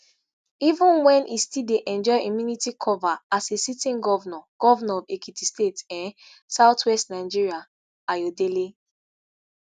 even wen e still dey enjoy immunity cover as a sitting govnor govnor of ekiti state um south-west nigeria ayodele